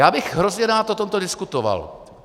Já bych hrozně rád o tomto diskutoval.